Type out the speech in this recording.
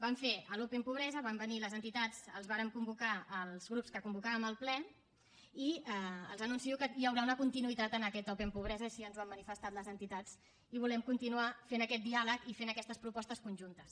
vam fer l’open pobresa van venir les entitats les vàrem convocar els grups que convocàvem el ple i els anuncio que hi haurà una continuïtat en aquest open pobresa així ens ho han manifestat les entitats i volem continuar fent aquest diàleg i fent aquestes propostes conjuntes